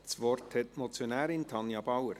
Das Wort hat die Motionärin, Tanja Bauer.